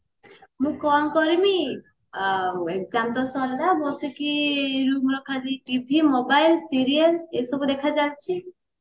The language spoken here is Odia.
ମୁଁ କଣ କରିବି ଆଉ exam ତ ସରିଲା ବସିକି roomରେ ଖାଲି TV mobile serial ଏସବୁ ଦେଖା ଚାଲିଛି